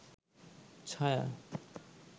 ছায়া